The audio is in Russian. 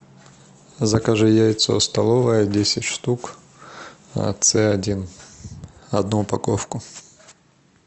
закажи яйцо столовое десять штук ц один одну упаковку